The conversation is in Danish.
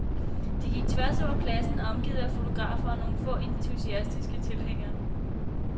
De gik tværs over pladsen omgivet af fotografer og nogle få entusiastiske tilhængere.